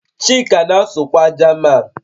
Chika na-asụkwa Jaman